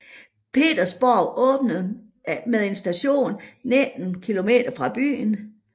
Petersborg åbnet med en station 19 km fra byen